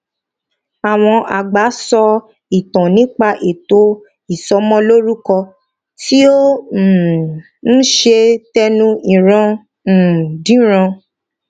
àwọn àgbà sọ ìtàn nípa ètò ìsọmọlórúkọ tí ó um ń ṣe tẹnu ìran um dé ìran